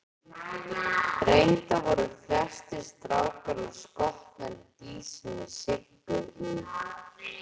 Reyndar voru flestir strákanna skotnir í dísinni Siggu í